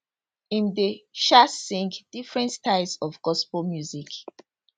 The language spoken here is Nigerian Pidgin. im dey um sing different styles of gospel music